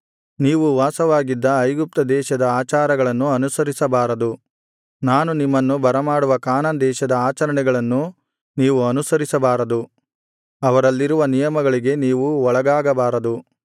ನೀವು ವಾಸವಾಗಿದ್ದ ಐಗುಪ್ತ ದೇಶದ ಆಚಾರಗಳನ್ನು ಅನುಸರಿಸಬಾರದು ನಾನು ನಿಮ್ಮನ್ನು ಬರಮಾಡುವ ಕಾನಾನ್ ದೇಶದ ಆಚರಣೆಗಳನ್ನು ನೀವು ಅನುಸರಿಸಬಾರದು ಅವರಲ್ಲಿರುವ ನಿಯಮಗಳಿಗೆ ನೀವು ಒಳಗಾಗಬಾರದು